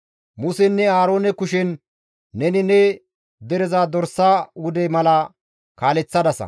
Musenne Aaroone kushen neni ne dereza dorsa wude mala kaaleththadasa.